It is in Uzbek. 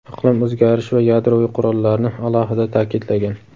iqlim o‘zgarishi va yadroviy qurollarni alohida ta’kidlagan.